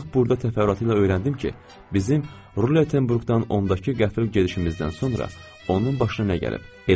Artıq burda təfərrüatı ilə öyrəndim ki, bizim Rulettenburqdan ondakı qəfil gedişimizdən sonra onun başına nə gəlib.